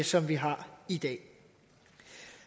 som vi har i dag